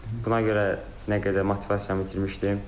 Buna görə nə qədər motivasiyamı itirmişdim.